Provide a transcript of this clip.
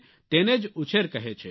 તેને જ ઉછેર કહે છે